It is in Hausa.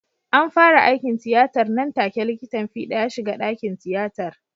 An fara aikin tiyatar nan take likitan fida ya shiga dakin tiyatar.